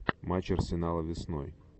матч арсенала весной